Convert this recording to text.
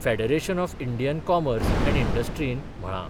Federation of Indian Commerce and इंडस्ट्रीन 'म्हळा.